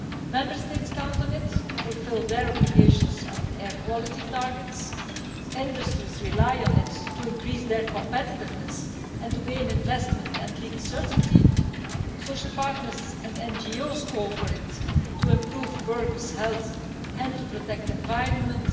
Member States count on it to fulfil their obligations on air quality targets, industries rely on it to increase their competitiveness and to gain investment and legal certainty, and social partners and NGOs call for it to improve workers' health and to protect the environment.